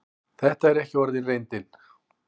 Þetta er ekki orðin reyndin.